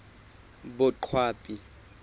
boqwabi